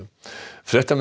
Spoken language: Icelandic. fréttamenn